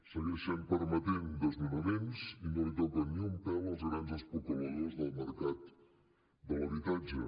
segueixen permetent desnonaments i no toca ni un pèl als grans especuladors del mercat de l’habitatge